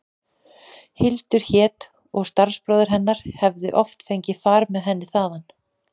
Hildur hét og starfsbróðir hefði oft fengið far með henni þaðan.